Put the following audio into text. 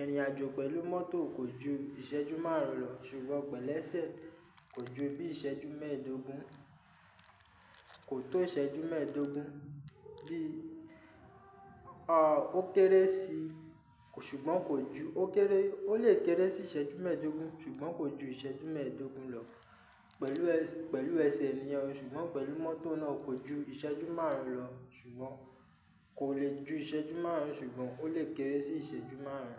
Ìrìn àjò pẹ̀lú mọ́tò kò ju ìṣẹ́jú márùn-ún lọ, ṣùgbọ́n pẹ̀lẹ́ṣẹ̀ kò ju bí ìṣẹ́jú mẹ́ẹ̀dógún, kò tó ìṣẹ́jú mẹ́ẹ̀dógún bí, o kéré sì, ṣùgbọ́n kò ju. O lè kéré sì ìṣẹ́jú mẹ́ẹ̀dógún, ṣùgbọ́n kò ju ìṣẹ́jú mẹ́ẹ̀dógún lọ pẹ̀lú ẹsẹ̀ nìyẹn, ṣùgbọ́n pẹ̀lú mọ́tò náà kò ju ìṣẹ́jú márùn-ún lọ ṣùgbọ́n kò lè ju ìṣẹ́jú márùn-ún ṣùgbọ́n ó lè kéré sì ìṣẹ́jú márùn-ún.